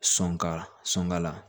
Sɔn ka sɔn ka la